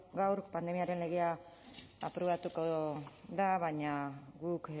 gaur pandemiaren legea aprobatuko da baina guk